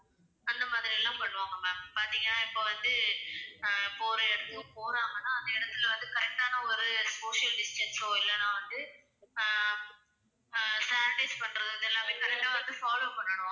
அந்த மாதிரியெல்லாம் பண்ணுவாங்க ma'am. பார்த்தீங்கன்னா இப்ப வந்து அஹ் இப்ப ஒரு இடத்துக்கு போறாங்கன்னா அந்த இடத்துல வந்து correct ஆன ஒரு social distance ஓ இல்லைன்னா வந்து அஹ் அஹ் sanitize பண்றது இது எல்லாமே correct ஆ வந்து follow பண்ணணும்.